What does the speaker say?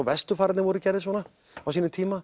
vesturfararnir voru gerðir svona á sínum tíma